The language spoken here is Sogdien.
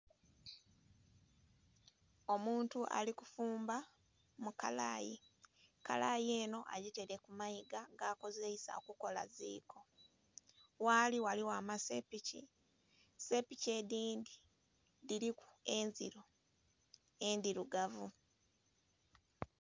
Omuntu alikufumba mukalayi, ekalayi eno bagitaire kumayiga nga akozeisa okukola ziko ghali ghaligho amasepiki, sepiki edhindhi dhiri enziro endhirugavu.